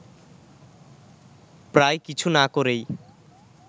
প্রায় কিছু না করেই